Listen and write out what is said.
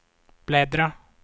bläddra